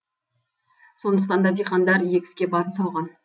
сондықтан да диқандар егіске барын салған